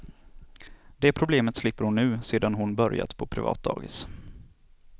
Det problemet slipper hon nu, sedan hon börjat på privat dagis.